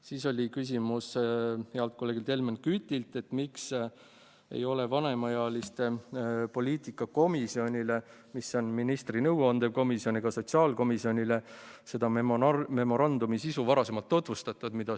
Siis oli heal kolleegil Helmen Kütil küsimus, miks ei ole vanemaealiste poliitika komisjonile, mis on ministri nõuandev komisjon, ega sotsiaalkomisjonile seda välja töötatud memorandumi sisu varem tutvustatud.